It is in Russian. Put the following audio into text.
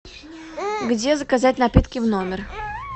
где заказать напитки в номер